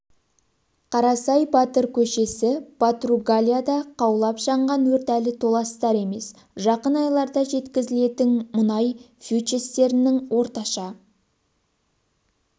қарасай батыр көшесі португалияда қаулап жанған өрт әлі толастар емес жақын айларда жеткізілетін мұнай фьючерстерінің орташа